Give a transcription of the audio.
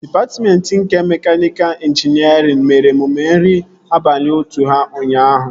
Dịpatmentị nke mekaniika ịnjinierịn mere emume nri abalị otu ha ụnyaahụ